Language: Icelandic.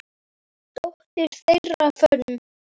Dóttir þeirra, Fönn